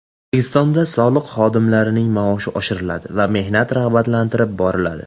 O‘zbekistonda soliq xodimlarining maoshi oshiriladi va mehnati rag‘batlantirib boriladi.